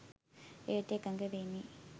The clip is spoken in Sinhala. එයට එකඟවෙමි